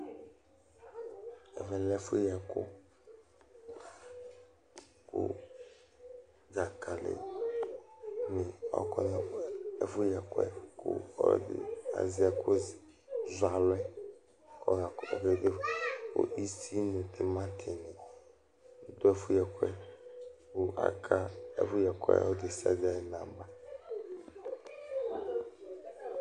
Ɛvɛ lɛ ɛfʋyɩɛkʋ, kʋ dzakali nɩ akɔ Ɔlɔdɩ azɛ ɛkʋzɔalʋ yɛ kʋ ɔya Isi nʋ timati nɩ dʋ ɛfʋyɩɛkʋ yɛ Kʋ aka ɔlʋ nʋ ɔlʋ ayʋ nɔba